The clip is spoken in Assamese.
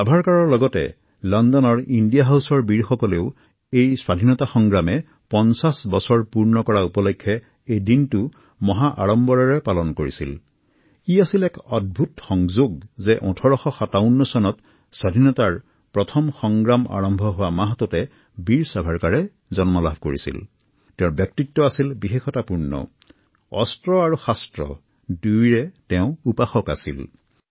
ছাভাৰকাৰ আৰু তেওঁৰ সাহসী হৃদয়ৰ বীৰসকলে লণ্ডনৰ ইণ্ডিয়া হাউছত স্বাধীনতাৰ প্ৰথম যুদ্ধৰ ৫০সংখ্যক বাৰ্ষিকী উদযাপন কৰিছিল